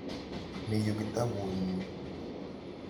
Mi yu kitaput nyu.